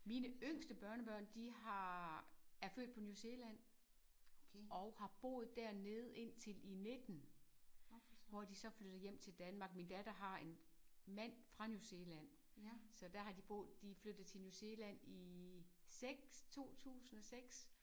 Mine yngste børnebørn de har er født på New Zealand og har boet dernede indtil i 19 hvor de så flyttede hjem til Danmark. Min datter har en mand fra New Zealand så der har de boet de flyttede til New Zealand i 6 i 2006